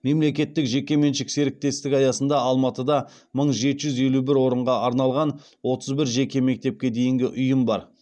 мемлекеттік жекешелік серіктестік аясында алматыда мың жеті жүз елу бір орынға арналған отыз бір жеке мектепке дейінгі ұйым бар